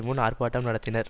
முன் ஆர்பாட்டம் நடத்தினர்